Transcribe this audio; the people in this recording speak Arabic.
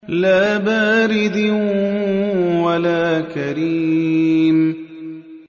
لَّا بَارِدٍ وَلَا كَرِيمٍ